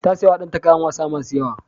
Ta sayawa danta kayan wasa masu yawa.